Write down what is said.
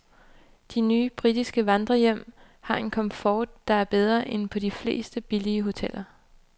De nye britiske vandrehjem har en komfort, der er bedre end på de fleste billigere hoteller.